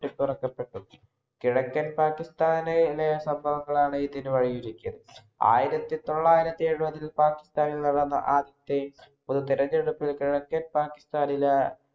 ട്ടിപ്പുറപ്പെട്ടു. കിഴക്കൻ പാകിസ്ഥാനിലെ സംഭവങ്ങളാണ് ഇതിനു വഴിയൊരുക്കിയത്. ആയിരത്തിതൊള്ളായിരത്തി എഴുപതില്‍ പാകിസ്ഥാനിൽ നടന്ന ആദ്യത്തെ പൊതുതെരഞ്ഞെടുപ്പ് കിഴക്കൻ പാകിസ്ഥാനിലെ